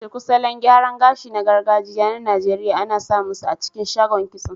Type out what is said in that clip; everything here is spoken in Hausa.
Shuku, salon gyaran gashi na gargajiya na Najeriya, ana samunsa a cikin shagon kitso.